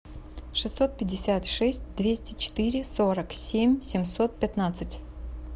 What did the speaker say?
шестьсот пятьдесят шесть двести четыре сорок семь семьсот пятнадцать